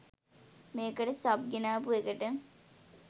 මේකට සබ් ගෙනාපු එකට